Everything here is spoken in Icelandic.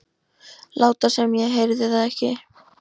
Láta sem ég heyrði það ekki.